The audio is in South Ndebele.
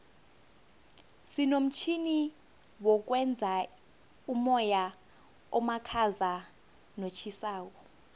sinomtjhini wokwenza umoya omakhaza notjhisako